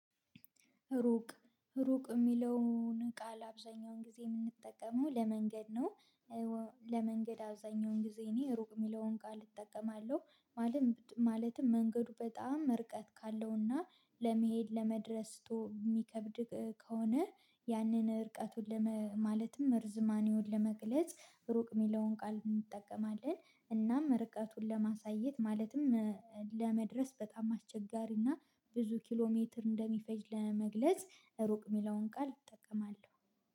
ሩቅ ሩቅ የሚለውን ቃል አብዛኛውን ጊዜ የምንጠቀመው ለመንገድ ነው። ለመንገድ አብዛኛውን ጊዜ እኔ ሩቅ የሚለውን ቃል እጠቀማለሁ። ማለትም መንገዱ በጣም ርቀት ካለውና ለመሄድ ለመድረስ የሚከብድ ከሆነ ያንን እርቀቱን ማለትም ርዝማኒውን ለመግለጽ ሩቅ የሚለውን ቃል እንጠቀማለን እናም ርቀቱን ለማሳየት ማለትም ለመድረስ በጣም አስቸጋሪና ብዙ ኪሎ ሜትር እንደሚፈጅ ለመግለጽ ሩቅ የሚለውን ቃል እጠቀማለሁ